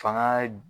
Fanga